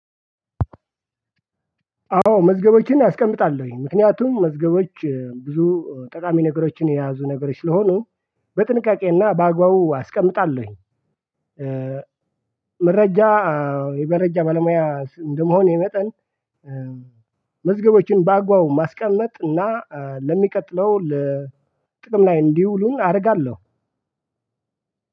አዎ መዝገቦችን አስቀምጣለሁ ምክንያቱም መዝገቦች ብዙ ጠቃሚ ነገሮችን የያዙ ነገሮች ስለሆኑ በጥንቃቄ እና በአግባቡ አስቀምጣለሁ። የመረጃ ባለሙያ እንደመሆኔ መጠን። መዝገቦችን በአግባቡ ማስቀመጥ እና ለሚቀጥለው ለ ጥቅም ላይ እንዲውሉ አደርጋለሁ።